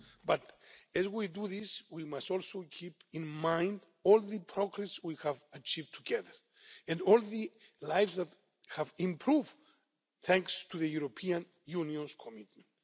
But as we do this, we must also keep in mind all the progress we have achieved together, and all the lives that have improved thanks to the European Union's commitment.